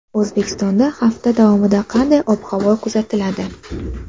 O‘zbekistonda hafta davomida qanday ob-havo kuzatiladi?.